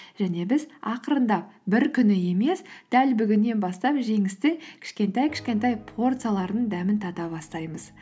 және біз ақырындап бір күні емес дәл бүгіннен бастап жеңістің кішкентай кішкентай порцияларын дәмін тата бастаймыз